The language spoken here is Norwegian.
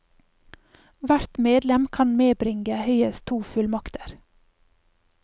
Hvert medlem kan medbringe høyest to fullmakter.